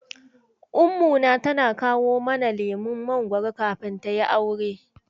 Ummuna tana kawo mana lemon mangoro da kafin tayi aure.